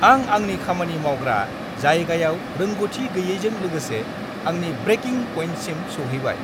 आं आंनि खामानि मावग्रा जायगायाव रोंग'थि गैयैजों लोगोसे आंनि ब्रेकिं पइन्टसिम सौहैबाय।